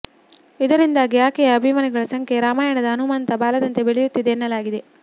ಇದರಿಂದಾಗಿ ಆಕೆಯ ಅಭಿಮಾನಿಗಳ ಸಂಖ್ಯೆ ರಾಮಯಾಣದ ಹನುಮಂತನ ಬಾಲದಂತೆ ಬೆಳೆಯುತ್ತಿದೆ ಎನ್ನಲಾಗಿದೆ